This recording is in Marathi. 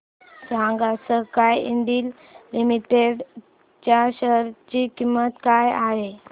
सांगा स्काय इंडस्ट्रीज लिमिटेड च्या शेअर ची किंमत काय आहे